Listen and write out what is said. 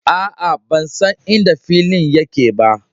Aa, ban san inda filin yake ba.